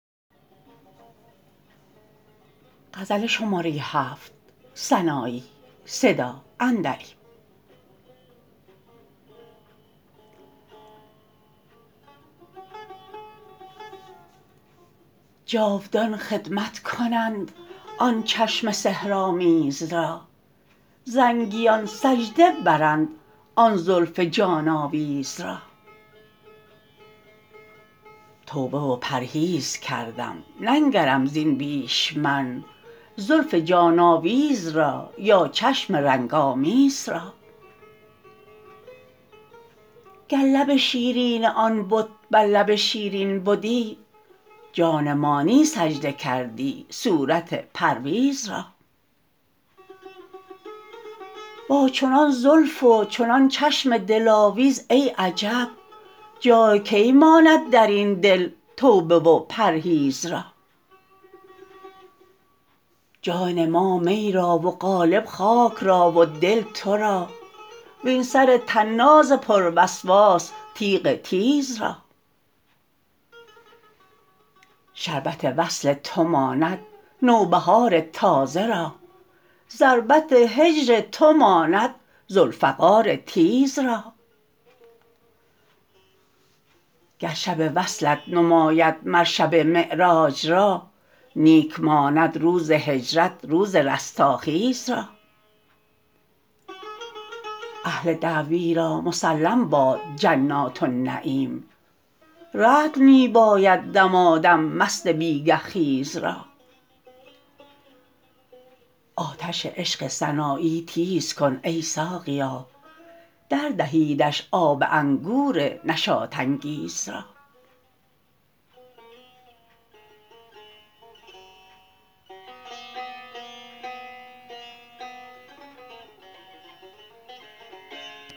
جادوان خدمت کنند آن چشم سحر آمیز را زنگیان سجده برند آن زلف جان آویز را توبه و پرهیز کردم ننگرم زین بیش من زلف جان آویز را یا چشم رنگ آمیز را گر لب شیرین آن بت بر لب شیرین بدی جان مانی سجده کردی صورت پرویز را با چنان زلف و چنان چشم دلاویز ای عجب جای کی ماند درین دل توبه و پرهیز را جان ما می را و قالب خاک را و دل ترا وین سر طناز پر وسواس تیغ تیز را شربت وصل تو ماند نوبهار تازه را ضربت هجر تو ماند ذوالفقار تیز را گر شب وصلت نماید مر شب معراج را نیک ماند روز هجرت روز رستاخیز را اهل دعوی را مسلم باد جنات النعیم رطل می باید دمادم مست بیگه خیز را آتش عشق سنایی تیز کن ای ساقیا در دهیدش آب انگور نشاط انگیز را